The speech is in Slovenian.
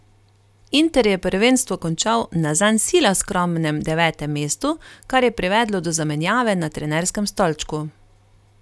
Inter je prvenstvo končal na zanj sila skromnem devetem mestu, kar je privedlo do zamenjave na trenerskem stolčku.